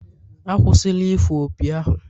Akwụsịla ifụ opi ahụ!